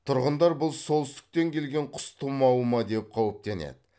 тұрғындар бұл солтүстіктен келген құс тымауы ма деп қауіптенеді